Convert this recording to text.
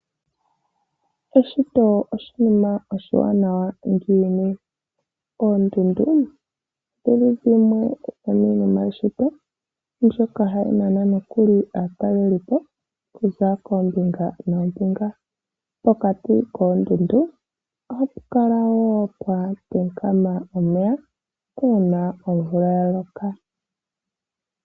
Eshito oshinima oshiwanawa ngiini? Oondundu odhi li dhimwe dhomiinima yeshito mbyoka hayi nana nokuli aatalelipo okuza koombinga noombinga. Pokati koondundu ohapu kala pwa kaama omeya, uuna omvula ya loka.